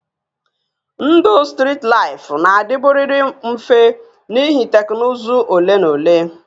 Ndụ strit laịfụ na-adịburịrị mfe n'ihi teknụzụ ole na ole